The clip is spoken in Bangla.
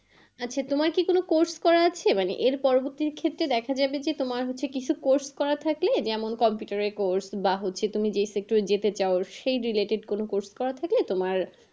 আচ্ছা তোমার কি কোনো course করা আছে? মানে এর পরবর্তী ক্ষেত্রে দেখা যাবে যে তোমার হচ্ছে কিছু course করা থাকলে, যেমন computer এর course বা হচ্ছে তুমি যে sector যেতে চাও সেই related কোনো course করা থাকলে তোমার,